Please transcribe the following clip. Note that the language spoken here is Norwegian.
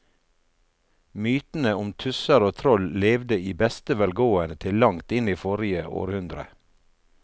Mytene om tusser og troll levde i beste velgående til langt inn i forrige århundre.